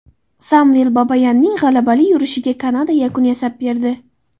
Samvel Babayanning g‘alabali yurishiga Kanada yakun yasab berdi.